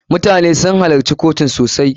MUtane sun halacci kotun sosai.